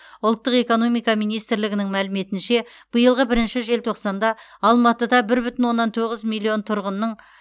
ұлттық экономика министрлігінің мәліметінше биылғы бірінші желтоқсанда алматыда бір бүтін оннан тоғыз миллион тұрғынның